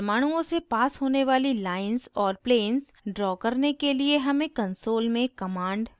परमाणुओं से पास होने वाली lines और planes draw करने के लिए हमें console में commands लिखने की आवश्यकता है